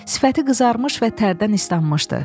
Sifəti qızarmış və tərdən islanmışdı.